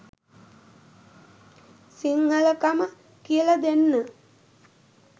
සිංහලකම කියලා දෙන්න